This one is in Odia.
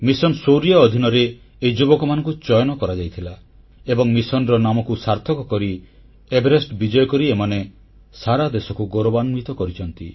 ମିଶନ୍ ଶୌର୍ଯ୍ୟ ଅଧିନରେ ଏହି ଯୁବକମାନଙ୍କୁ ଚୟନ କରାଯାଇଥିଲା ଏବଂ ମିଶନର ନାମକୁ ସାର୍ଥକ କରି ଏଭେରେଷ୍ଟ ବିଜୟ କରି ଏମାନେ ସାରା ଦେଶକୁ ଗୌରବାନ୍ୱିତ କରିଛନ୍ତି